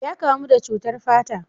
Ya kamu da cutar fata.